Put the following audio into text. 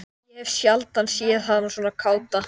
Ég hef sjaldan séð hana svona káta.